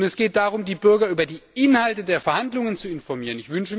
Und es geht darum, die Bürger über die Inhalte der Verhandlungen zu informieren.